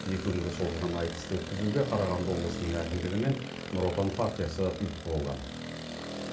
екі күнге созылған айтысты өткізуге қарағанды облысының әкімдігі мен нұр отан партиясы ұйытқы болған